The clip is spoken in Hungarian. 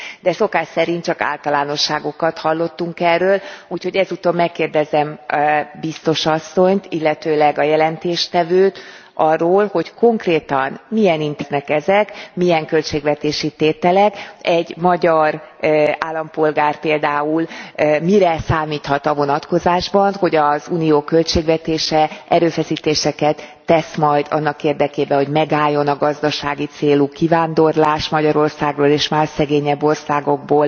de szokás szerint csak általánosságokat hallottunk erről, úgyhogy ezúton megkérdezem biztos asszonyt, illetőleg a jelentéstevőt arról, hogy konkrétan milyen intézkedések lesznek ezek, milyen költségvetési tételek. Egy magyar állampolgár például mire számíthat a vonatkozásban, hogy az Unió költségvetése erőfeszítéseket tesz majd annak érdekében, hogy megálljon a gazdasági célú kivándorlás Magyarországról és más szegényebb országokból,